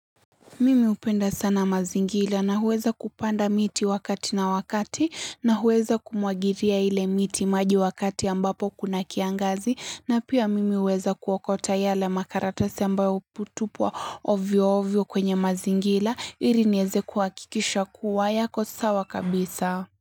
Mimi hupenda sana mazingila na huweza kupanda miti wakati na wakati na huweza kumwagiria ile miti maji wakati ambapo kuna kiangazi na pia mimi uweza kuokota yale makaratasi ambayo hutupwa ovyo ovyo kwenye mazingila ili nieze kuhakikisha kuwa yako sawa kabisa.